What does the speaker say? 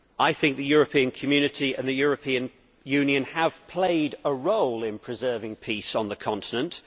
I think the European Community and the European Union have played a role in preserving peace on this continent.